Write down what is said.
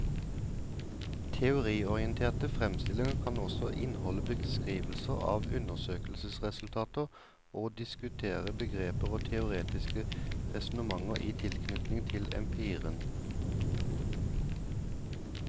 Teoriorienterte fremstillinger kan også inneholde beskrivelser av undersøkelsesresultater og diskutere begreper og teoretiske resonnementer i tilknytning til empirien.